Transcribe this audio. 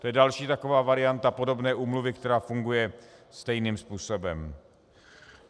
To je další taková varianta podobné úmluvy, která funguje stejným způsobem.